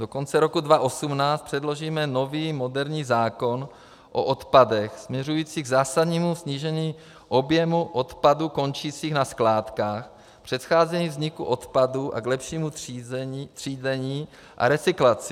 Do konce roku 2018 předložíme nový moderní zákon o odpadech směřující k zásadnímu snížení objemu odpadů končících na skládkách, předcházení vzniku odpadů a k lepšímu třídění a recyklaci.